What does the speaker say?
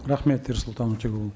рахмет ерсұлтан өтеғұлұлы